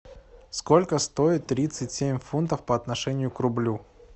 сколько стоит тридцать семь фунтов по отношению к рублю